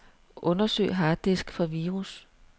Undersøg harddisk for virus.